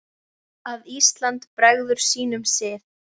að Ísland bregður sínum sið